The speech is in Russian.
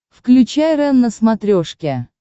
включай рен на смотрешке